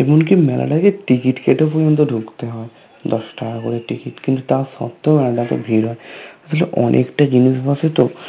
এমনকি মেলা টাতে ticket কেটে পর্যন্ত ঢুকতে হয় দশ টাকা করে ticket কিন্তু তার সত্ত্বেও মেলাটাতে ভিড় হয় । অবশ্যে অনেকটা জিনিস বসে তো